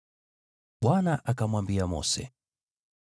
Bwana akamwambia Mose,